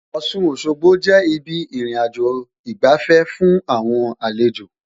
Ọ̀ṣun Òṣogbo jẹ́ ibi ìrìnàjò ìgbafẹ́ fún àwọn àlejò